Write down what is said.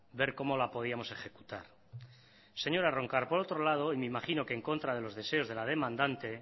ver cómo la podíamos ejecutar señora roncal por otro lado y me imagino que en contra de los deseos de la demandante